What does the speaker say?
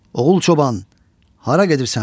Oğul çoban, hara gedirsən?